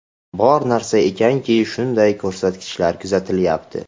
Bor narsa ekanki, shunday ko‘rsatkichlar kuzatilyapti.